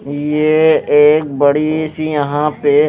ये एक बड़ी सी यहां पे--